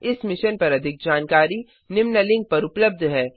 इस मिशन पर अधिक जानकारी निम्न लिंक पर उपलब्ध है